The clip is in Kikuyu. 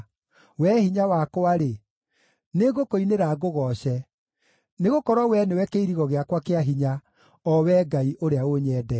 Wee Hinya wakwa-rĩ, nĩngũkũinĩra ngũgooce; nĩgũkorwo Wee nĩwe kĩirigo gĩakwa kĩa hinya, o Wee Ngai ũrĩa ũnyendete.